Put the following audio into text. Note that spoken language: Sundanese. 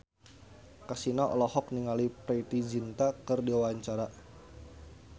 Kasino olohok ningali Preity Zinta keur diwawancara